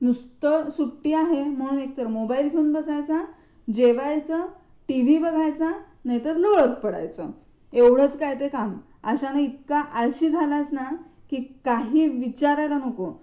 नुसतं सुट्टी आहे म्हणून एक तर मोबाईल घेऊन बसायचा, जेवायचं, टीव्ही बघायचा, नाहीतर लोळत पडायचं एवढंच काय ते काम. अशानं इतका आळशी झालयेस ना, की काही विचारायला नको.